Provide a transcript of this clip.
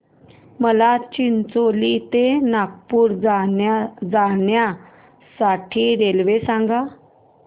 मला चिचोली ते नागपूर जाण्या साठी रेल्वे सांगा